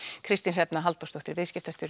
Kristín Hrefna Halldórsdóttir viðskiptastjóri